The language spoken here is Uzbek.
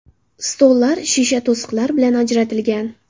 Stollar shisha to‘siqlar bilan ajratilgan.